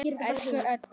Elsku Edda.